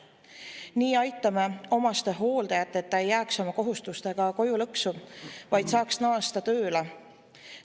Nii aitame omastehooldajat, et ta ei jääks oma kohustustega koju lõksu, vaid saaks naasta tööle.